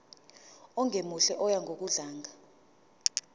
ongemuhle oya ngokudlanga